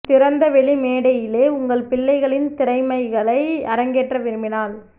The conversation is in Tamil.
திறந்த வெளி மேடையிலே உங்கள் பிள்ளைகளின் திறமைகளை அரங்கேற்ற விரும்பினால்